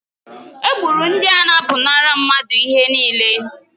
Egburu ndị a na-apụnara mmadụ ihe niile.